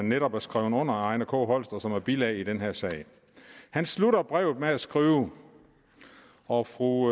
netop er skrevet under af ejner k holst og som er bilag i den her sag han slutter brevet med at skrive og fru